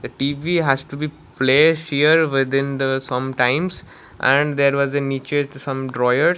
a tv has to be plays here within the sometimes and there was a some drawer.